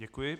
Děkuji.